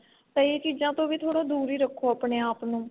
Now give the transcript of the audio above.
ਤਾਂ ਇਹ ਚੀਜ਼ਾ ਤੋਂ ਵੀ ਥੋੜਾ ਦੂਰ ਹੀ ਰੱਖੋ ਆਪਣੇ ਆਪ ਨੂੰ